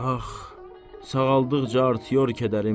Ax, sağaldıqca artıyor kədərim.